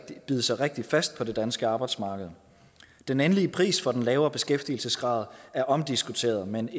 bide sig rigtig fast på det danske arbejdsmarked den endelige pris for den lavere beskæftigelsesgrad er omdiskuteret men